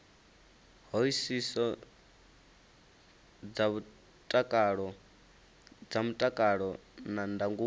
hoisiso dza mutakalo na ndangulo